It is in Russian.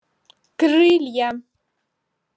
крылья